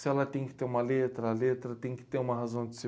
Se ela tem que ter uma letra, a letra tem que ter uma razão de ser.